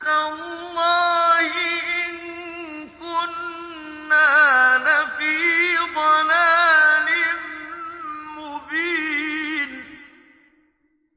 تَاللَّهِ إِن كُنَّا لَفِي ضَلَالٍ مُّبِينٍ